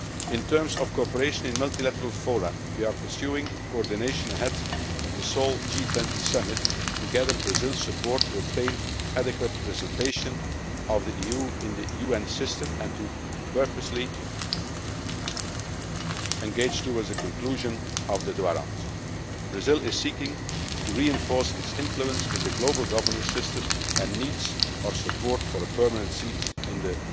soon. In terms of cooperation in multilateral fora, we are pursuing coordination ahead of the Seoul G20 Summit to gather Brazil's support to obtain adequate representation of the EU in the UN system and to purposefully engage towards a conclusion of the Doha Round. Brazil is seeking to reinforce its influence with the global governance system and needs our support for a permanent seat